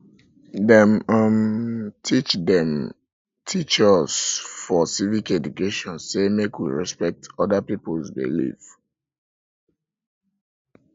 dem um teach dem um teach us for civic education sey make we respect other pipu belief